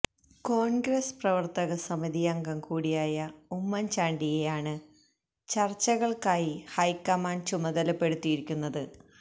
കോണ്ഗ്രസ് പ്രവര്ത്തക സമിതി അംഗം കൂടിയായ ഉമ്മന്ചാണ്ടിയെ ആണ് ചര്ച്ചകള്ക്കായി ഹൈക്കമാന്ഡ് ചുമതലപ്പെടുത്തിയിരിക്കുന്നത്